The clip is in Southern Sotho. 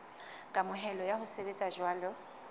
kamohelo ya ho sebetsa jwalo